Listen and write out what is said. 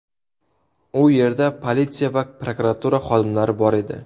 U yerda politsiya va prokuratura xodimlari bor edi.